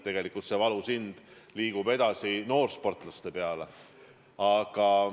Tegelikult see löök kandub edasi noorsportlaste peale.